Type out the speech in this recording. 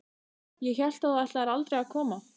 Ég hélt að þú ætlaðir aldrei að koma.